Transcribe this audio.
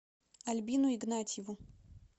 альбину игнатьеву